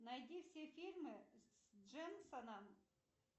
найди все фильмы с дженсоном